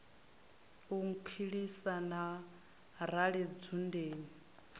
u nkhulisa na rali dzundeni